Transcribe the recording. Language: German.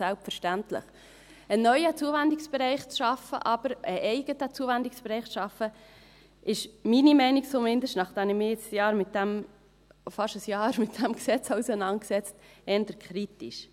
Jedoch einen neuen Zuwendungsbereich zu schaffen, einen eigenen Zuwendungsbereich zu schaffen, ist meiner Meinung nach zumindest, nachdem ich mich jetzt fast ein Jahr lang mit diesem Gesetz auseinandergesetzt habe, eher kritisch.